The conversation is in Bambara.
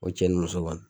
O cɛ ni muso kɔni